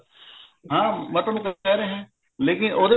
ਹਾਂ ਮਤਲਬ ਮੈਂ ਕਹਿ ਰਿਹਾ ਲੇਕਿਨ